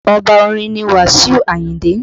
Oba orin ni Wasiu Ayinde